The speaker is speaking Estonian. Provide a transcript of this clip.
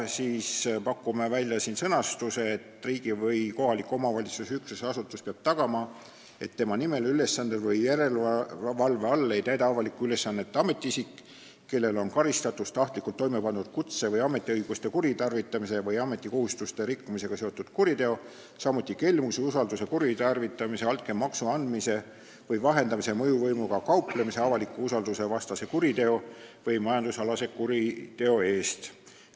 Pakume välja sellise sõnastuse: "Riigi- või kohaliku omavalitsuse üksuse asutus peab tagama, et tema nimel, ülesandel või järelevalve all ei täida avalikku ülesannet ametiisik, kellel on karistatus tahtlikult toimepandud kutse- või ametiõiguste kuritarvitamise või ametikohustuste rikkumisega seotud kuriteo, samuti kelmuse, usalduse kuritarvitamise, altkäemaksu andmise või vahendamise, mõjuvõimuga kauplemise, avaliku usalduse vastase kuriteo või majandusalase kuriteo eest.